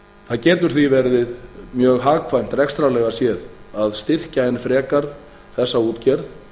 það getur því verið mjög hagkvæmt rekstrarlega séð að styrkja enn frekar þessa útgerð